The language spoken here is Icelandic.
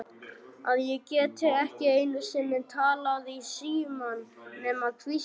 Að geta ekki einu sinni talað í símann nema hvísla.